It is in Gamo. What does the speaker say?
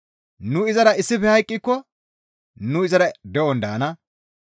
«Nu izara issife hayqqiko nu izara de7on daana.